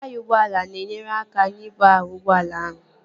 Taya ụgbọala na-enyere aka n'ibu ahụ ụgbọala ahụ